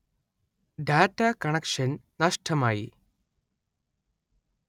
data connection നഷ്ടമായി